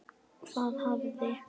Hvað hafði